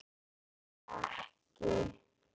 Heyrir ekki.